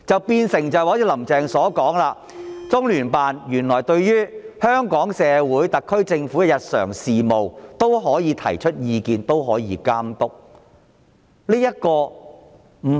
變成"林鄭"所說般，中聯辦對於香港社會和特區政府的日常事務，都可以提出意見和監督。